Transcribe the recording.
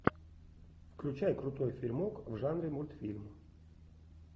включай крутой фильмок в жанре мультфильм